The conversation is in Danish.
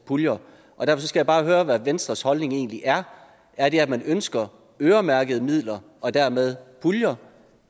puljer og derfor skal jeg bare høre hvad venstres holdning egentlig er er det at man ønsker øremærkede midler og dermed puljer